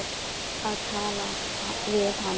Að tala við hana!